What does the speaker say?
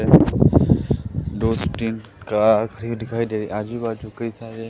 दो से तीन कार खड़ी दिखाई दे रही है आजू बाजू कई सारे--